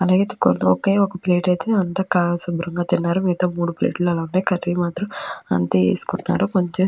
అలాగైతే ఒకే ఒక ప్లేటు ఐతే శుభ్రంగా తిన్నారు మిగతా మూడు ప్లేట్లు ఉన్నా కర్రీ మాత్రం అంతా వేసుకున్నారు.